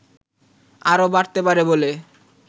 আরও বাড়তে পারে বলে